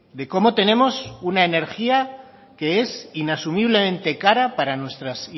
de cómo tenemos una energía que es inasumiblemente cara para nuestras